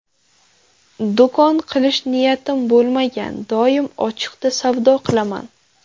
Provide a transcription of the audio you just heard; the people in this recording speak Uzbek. Do‘kon qilish niyatim bo‘lmagan, doim ochiqda savdo qilaman.